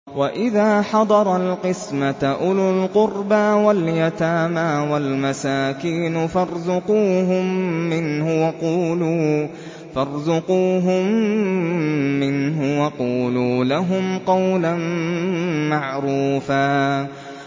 وَإِذَا حَضَرَ الْقِسْمَةَ أُولُو الْقُرْبَىٰ وَالْيَتَامَىٰ وَالْمَسَاكِينُ فَارْزُقُوهُم مِّنْهُ وَقُولُوا لَهُمْ قَوْلًا مَّعْرُوفًا